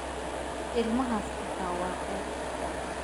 Ilmahaas xitaa waa ceeb